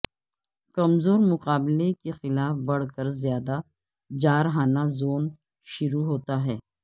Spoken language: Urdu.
کمزور مقابلہ کے خلاف بڑھ کر زیادہ جارحانہ زون شروع ہوتا ہے